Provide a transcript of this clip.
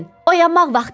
Oyanmaq vaxtıdır.